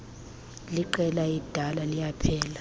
leqela elidala liyaphela